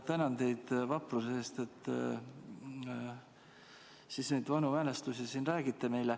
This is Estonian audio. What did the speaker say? Tänan teid vapruse eest, et te siin neid vanu mälestusi meile räägite.